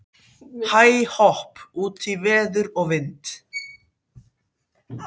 Hæ-hopp út í veður og vind.